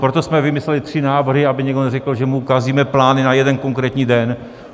Proto jsme vymysleli tři návrhy, aby někdo neřekl, že mu kazíme plány na jeden konkrétní den.